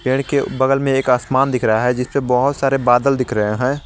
पेड़ के बगल में एक आसमान दिख रहा है जिसपे बहौत सारे बादल दिख रहे हैं।